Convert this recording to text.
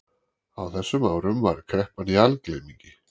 Á þessum árum var kreppan í algleymingi.